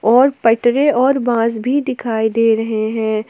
और पटरे और बांस भी दिखाई दे रहे है।